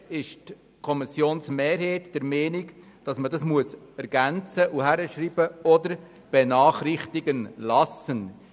Die Kommissionsmehrheit ist der Meinung, der Absatz sei wie folgt zu ergänzen: «oder benachrichtigen zu lassen.